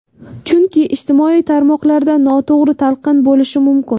Chunki ijtimoiy tarmoqlarda noto‘g‘ri talqin bo‘lishi mumkin.